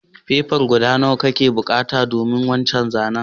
Fefan siga guda nawa kana bukatan domin wancan zanen?